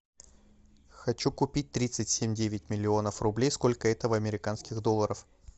хочу купить тридцать семь девять миллионов рублей сколько это в американских долларах